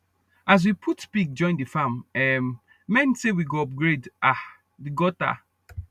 as we put pig join the farm um men say we go upgrade um the gutter